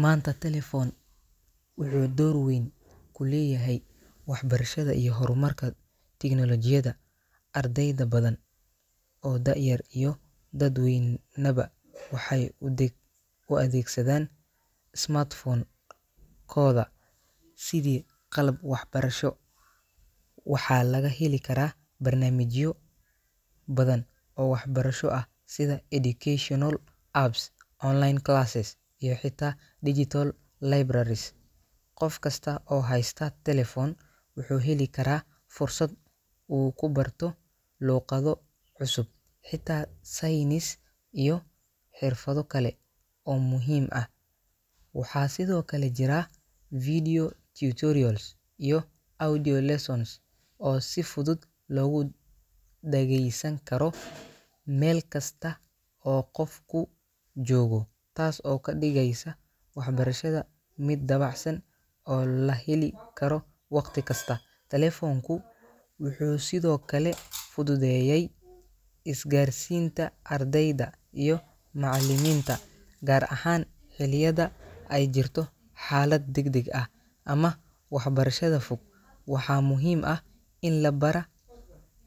Maanta, telephone-ka wuxuu door weyn ku leeyahay waxbarashada iyo horumarka tignoolajiyada. Arday badan oo da'yar iyo dad weynaba waxay u adeegsadaan smartphone-kooda sidii qalab waxbarasho. Waxaa laga heli karaa barnaamijyo badan oo waxbarasho ah sida educational apps, online classes, iyo xitaa digital libraries. Qof kasta oo haysta telephone wuxuu heli karaa fursad uu ku barto luqado cusub, xisaab, saynis, iyo xirfado kale oo muhiim ah. Waxaa sidoo kale jira video tutorials iyo audio lessons oo si fudud loogu dhageysan karo meel kasta oo qofku joogo, taas oo ka dhigaysa waxbarashada mid dabacsan oo la heli karo waqti kasta. Telefoonku wuxuu sidoo kale fududeeyay isgaarsiinta ardayda iyo macallimiinta, gaar ahaan xilliyada ay jirto xaalad degdeg ah ama waxbarashada fog. Waxaa muhiim ah in la bara